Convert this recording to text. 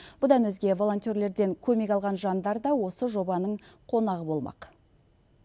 бұдан өзге волонтерлерден көмек алған жандар да осы жобаның қонағы болмақ